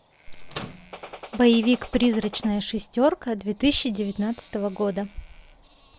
боевик призрачная шестерка две тысячи девятнадцатого года